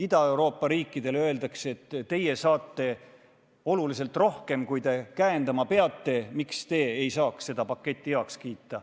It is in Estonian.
Ida-Euroopa riikidele öeldakse, et teie saate oluliselt rohkem, kui te käendama peate, nii et miks te ei peaks seda paketti heaks kiitma.